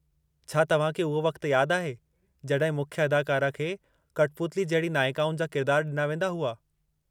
छा तव्हांखे उहो वक़्त यादि आहे जड॒हिं मुख्य अदाकारा खे कठपुतली जहिड़ी नाइकाउनि जा किरदार डि॒ना वेंदा हुआ।